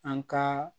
An ka